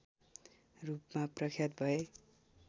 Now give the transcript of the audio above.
रूपमा प्रख्यात भए